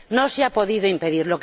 No se ha podido impedir.